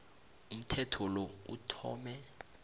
umthetho lo uthome